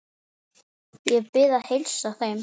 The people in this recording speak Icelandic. Ég bið að heilsa þeim.